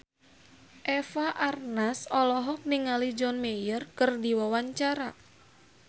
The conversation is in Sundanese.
Eva Arnaz olohok ningali John Mayer keur diwawancara